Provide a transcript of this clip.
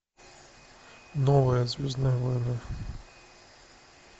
новые звездные войны